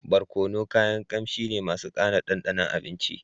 Barkono kayan kamshi ne masu kara dandanon abinci